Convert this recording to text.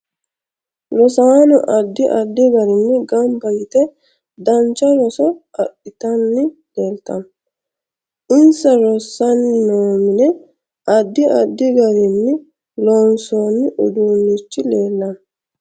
Rosaano addi addi garinni ganba yite dancha roso adhitanni leeltanno insa rossani noo mine addi addi garinni loonsooni uduunichi leelanno